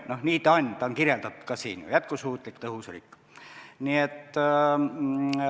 No nii ta on, ta on kirjeldatud ka siin ju: jätkusuutlik tõhus riik.